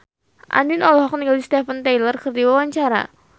Andien olohok ningali Steven Tyler keur diwawancara